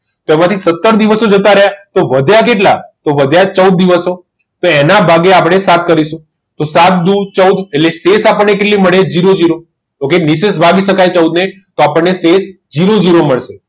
માટે સત્તર દિવસો જતા રહ્યા તો વધ્યા કેટલા તો વધ્યા ચૌદ દિવસો તો એના ભાગે આપણે સાત કરીશું તો સાત દુ ચૌદ એટલે આપણને શેષ કેટલી મળે જીરો જીરો okay નિશેષ ભાગી શકાય ચૌદ ને તો આપણને જીરો જીરો મળે